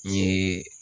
N ye